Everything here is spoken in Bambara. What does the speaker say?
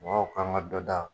Mɔgɔw k'an ka dɔ da